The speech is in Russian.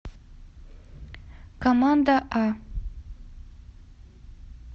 команда а